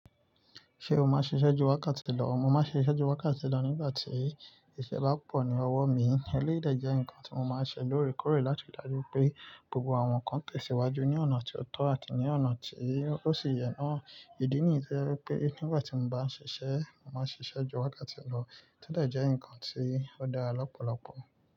Ṣé o máa ṣiṣẹ́ ju wákàtí lọ? Mo máa ń ṣiṣẹ́ ju wákàtí lọ nígbà tí iṣẹ́ bá pọ̀ ní ọwọ́ mi. Eléyìí dẹ̀ jẹ́ nǹkan tí mo máa ń ṣe lóòrèkóòrè láti rí i dájú pé gbogbo àwọn nǹkan tẹ̀síwájú ní ọ̀nà tó tọ́ àti ní ọ̀nà tí ó sì yẹ́nà. Ìdí nìyí tó jẹ́ wípé nígbà tí mo bá ń ṣiṣẹ́, mo máa ń ṣiṣẹ́ ju wákàtí lọ. Tẹ́lẹ̀ jẹ́ nǹkan tí ó dára lọ́pọ̀lọpọ̀.